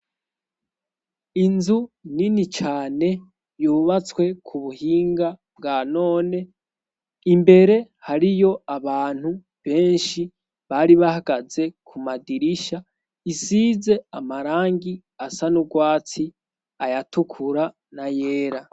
Inzu nini cane yubatswe ku buhinga bwa none imbere hari yo abantu benshi bari bahagaze ku madirisha isize amarangi asa n'urwatsi ayatukura na yera.